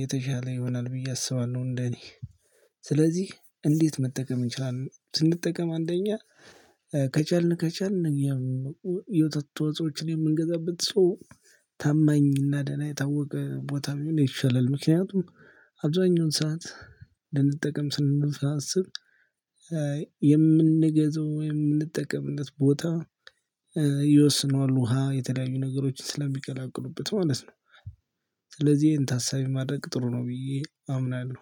የተሻለ ይሆናል ብዬ አስባለሁ። እንደኔ ስለዚህ እንዴት መጠቀም እንችላለን? ስንጠቀም አንደኛ ከቻልን ከቻልን የውተት ተዋጾችን የምንገዛበት ሰው ታማኝና ደህና የታወቀ ቦታ ምን ይሻላል? ምክንያቱም አብዛኛውን ሰዓት ልንጠቀም ስናስብ የምንገዛው የምንጠቀምነት ቦታ ይወስነዋል ውሃ የተለያዩ ነገሮችን ስለሚቀላቅሉበት ማለት ነው። ስለዚህ ይሄን ታሳይ ማድረግ ጥሩ ነው ብዬ አምናለሁ